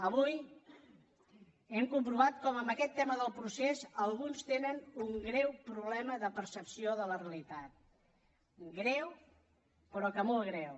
avui hem comprovat com en aquest tema del procés alguns tenen un greu problema de percepció de la realitat greu però que molt greu